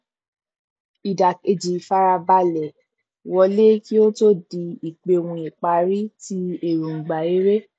ìdákẹjẹ ìfarabalẹ wólẹ kí ó tó di ípèohùn ìpárí ti èròngbà eré